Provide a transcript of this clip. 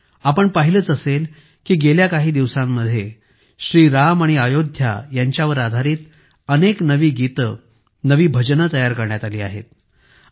तुम्ही पाहिलेच असेल की गेल्या काही दिवसांमध्ये श्री राम आणि अयोध्या यांच्यावर आधारित अनेक नवी गीते नवी भजने तयार करण्यात आली आहेत